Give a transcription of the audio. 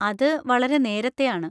അത് വളരെ നേരത്തെയാണ്.